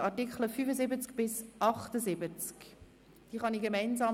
– Ich sehe keinen Widerspruch.